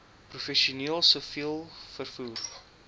professioneel siviel vervoer